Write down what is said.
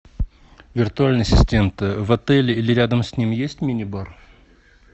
виртуальный ассистент в отеле или рядом с ним есть мини бар